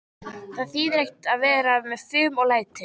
Það þýðir ekkert að vera með fum og læti.